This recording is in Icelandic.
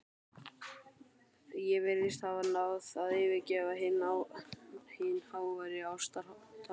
Ég virðist hafa náð að yfirgnæfa hin háværu ástaratlot